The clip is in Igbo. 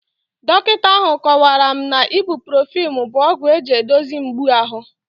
Dọkịta ahụ kọwara m na Ibuprofen bụ ọgwụ eji edozie mgbu ahụ